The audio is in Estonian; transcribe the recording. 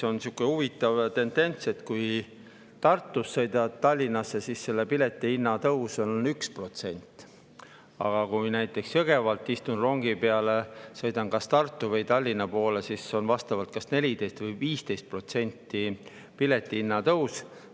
On sihuke huvitav tendents, et kui Tartust sõidad Tallinnasse, siis selle pileti hinna tõus on 1%, aga kui istun rongi peale näiteks Jõgeval ja sõidan Tartu või Tallinna poole, siis on piletihinna tõus vastavalt 14% ja 15%.